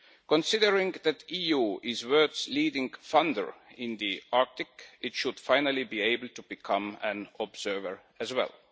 Considering that the EU is the world's leading funder in the Arctic, it should finally be able to become an observer as well.